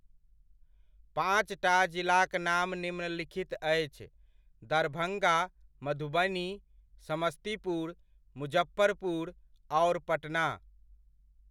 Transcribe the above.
पाँचटा जिलाक नाम निम्नलिखित अछि, दरभङ्गा, मधुबनी, समस्तीपुर, मुजफ्फरपुर, आओर पटना।